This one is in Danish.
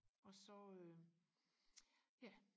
og så øh ja